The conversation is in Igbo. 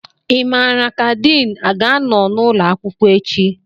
Ị mara ka Din a ga-anọ n'ụlọ akwụkwọ echi?